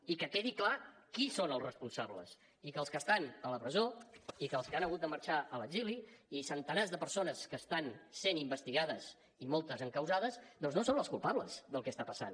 i que quedi clar qui són els responsables i que els que estan a la presó i que els que han hagut de marxar a l’exili i centenars de persones que estan sent investigades i moltes encausades doncs no són els culpables del que està passant